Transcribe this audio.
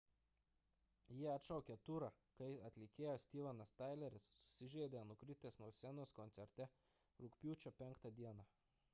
jie atšaukė turą kai atlikėjas stevenas tyleris susižeidė nukritęs nuo scenos koncerte rugpjūčio 5 d